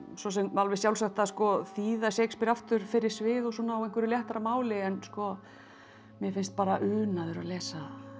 svo sem alveg sjálfsagt að þýða Shakespeare aftur fyrir svið á einhverju léttara máli en mér finnst unaður að lesa